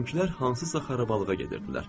Bizimkilər hansısa xarabalıqa gedirdilər.